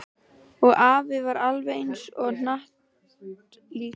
Og afi var alveg eins og hnattlíkan í laginu.